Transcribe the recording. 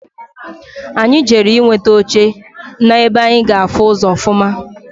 Anyị jere nweta oche na-ebe anyi ga-afụ ụzọ ọfụma.